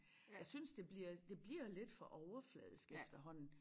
Jeg synes det bliver det bliver lidt for overfladisk efterhånden